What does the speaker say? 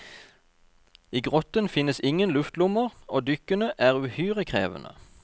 I grotten finnes ingen luftlommer, og dykkene er uhyre krevende.